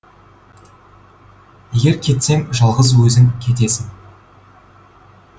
егер кетсең жалғыз өзің кетесің